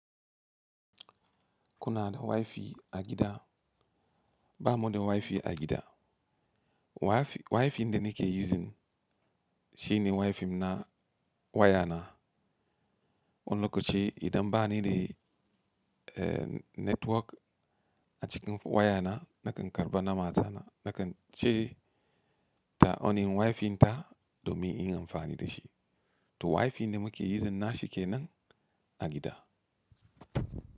Kuna da Wi-Fi a gida? Ba mu da Wi-Fi a gida. Wi-Fi da nike yuzin shine Wi-Fi na wayana. Wani lokaci idan ba ni da eh network a cikin wayana nakan karɓa na matana nakan ce ta onnin Wi-Fi ta domin in amfani da shi. To Wi-Fi da muke yizin na shi kenan a gida.